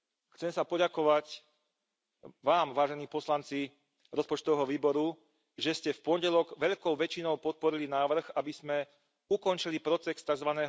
Chcem sa poďakovať vám, vážení poslanci rozpočtového výboru, že ste v pondelok veľkou väčšinou podporili návrh, aby sme ukončili proces tzv.